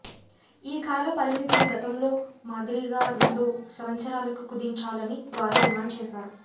ఈ కాల పరిమితిని గతంలో మాదిరిగా రెండు సంవత్సరాలకు కుదించాలని వారు డిమాండ్ చేశారు